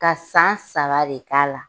Ka san saba re k'a la.